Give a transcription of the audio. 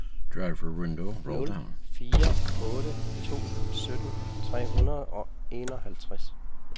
nul fire otte to sytten tre hundrede og enoghalvtreds